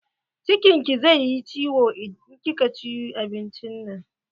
Cikin ki zai yi ciwon in kika ci abincin nan.